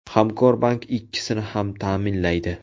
Hamkorbank ikkisini ham ta’minlaydi.